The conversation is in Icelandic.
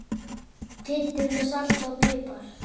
Kryddið með salti og pipar.